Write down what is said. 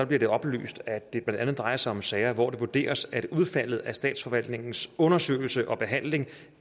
bliver det oplyst at det blandt andet drejer sig om sager hvor det vurderes at udfaldet af statsforvaltningens undersøgelse og behandling